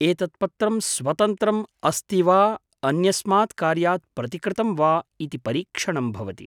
एतत् पत्रं स्वतन्त्रम् अस्ति वा अन्यस्मात् कार्यात् प्रतिकृतं वा इति परीक्षणम् भवति।